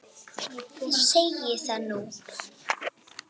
Ég segi það nú!